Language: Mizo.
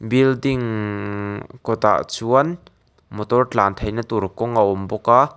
building kawtah chuan motor tlan theihna tur kawng a awm bawk a.